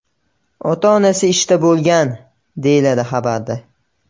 Ota-onasi ishda bo‘lgan”, deyiladi xabarda.